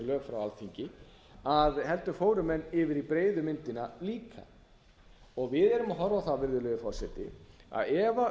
lög frá alþingi heldur fóru menn yfir í breiðu myndina líka við erum að horfa á það virðulegi forseti að ef